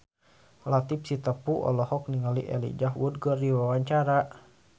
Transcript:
Latief Sitepu olohok ningali Elijah Wood keur diwawancara